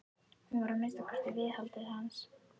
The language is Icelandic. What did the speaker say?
Hún var að minnsta kosti viðhaldið hans.